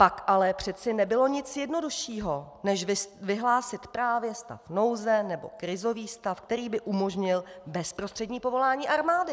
Pak ale přeci nebylo nic jednoduššího než vyhlásit právě stav nouze nebo krizový stav, který by umožnil bezprostřední povolání armády!